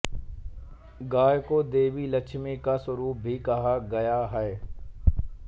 गाय को देवी लक्ष्मी का स्वरूप भी कहा गया है